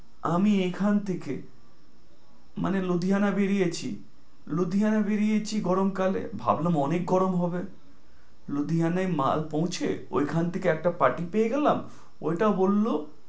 আমি এখান থেকে মানে, লুধিয়ানা বেরিয়েছি লুধিয়ানা বেরিয়েছি গরম কালে, ভাবলাম অনেক গরম হবে। লুধিয়ানায় মাল পৌছে, ওই খান থেকে একটা party পেয়ে গেলাম ওইটা বলল,